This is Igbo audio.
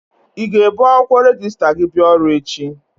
I ga-ebu akwụkwọ rejista gi bịa ọrụ echi?